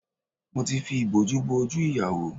Mo ti fi ìbòjú bo ojú ìyàwó